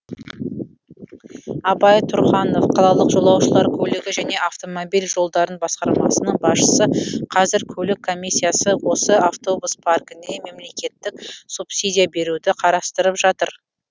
абай тұрханов қалалық жолаушылар көлігі және автомобиль жолдары басқармасының басшысы қазір көлік комиссиясы осы автобус паркіне мемлекеттік субсидия беруді қарастырып жатыр